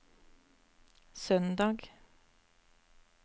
søndag